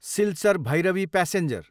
Silchar, Bhairabi passenger